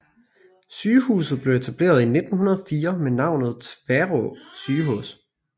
Sygehuset blev etableret i 1904 med navnet Tværå sygehus